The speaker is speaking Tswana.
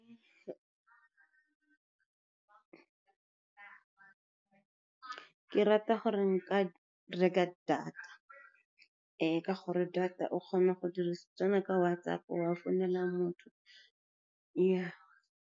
Ke rata gore nka reka data, ka gore data o kgona go tsena ka WhatsApp wa o founela motho ya.